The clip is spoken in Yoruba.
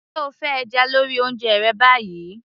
se o fẹ́ ẹja lórí oúnjẹ rẹ báyìí